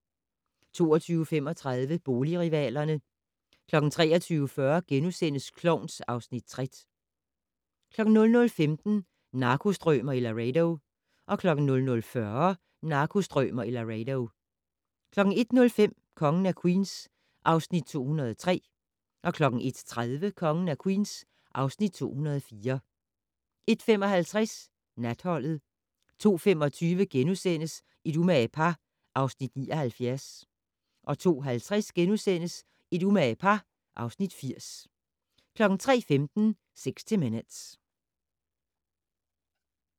22:35: Boligrivalerne 23:40: Klovn (Afs. 60)* 00:15: Narkostrømer i Laredo 00:40: Narkostrømer i Laredo 01:05: Kongen af Queens (Afs. 203) 01:30: Kongen af Queens (Afs. 204) 01:55: Natholdet 02:25: Et umage par (Afs. 79)* 02:50: Et umage par (Afs. 80)* 03:15: 60 Minutes